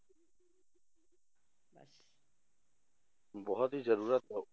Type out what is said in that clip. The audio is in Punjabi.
ਬਹੁਤ ਹੀ ਜ਼ਰੂਰਤ ਹੈ ਉਹ